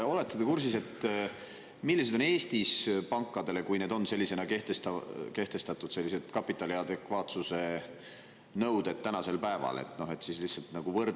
Olete te kursis, millised on Eestis pankadele kapitali adekvaatsuse nõuded tänasel päeval, kui need on sellisena kehtestatud?